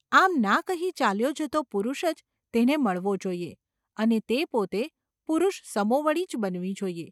આમ ના કહી ચાલ્યો જતો પુરુષ જ તેને મળવો જોઈએ અને તે પોતે પુરુષસમોવડી જ બનવી જોઈએ.